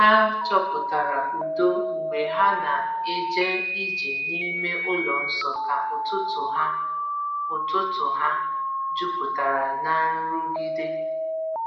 Ha chọpụtara udo mgbe ha na-eje ije n’ime ụlọ nsọ ka ụtụtụ ha ụtụtụ ha juputara n’ nrụgide.